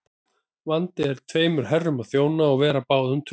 Vandi er tveimur herrum að þjóna og vera báðum trúr.